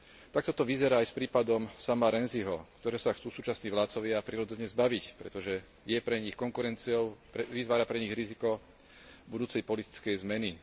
Takto to vyzerá aj s prípadom Sama Rainsyho, ktorého sa chcú súčasní vládcovia prirodzene zbaviť, pretože je pre nich konkurenciou, vytvára pre nich riziko budúcej politickej zmeny.